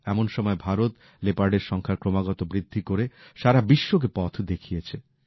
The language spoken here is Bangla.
এমন সময় ভারত লেপার্ডের সংখ্যার ক্রমাগত বৃদ্ধি করে সারা বিশ্বকে পথ দেখিয়েছে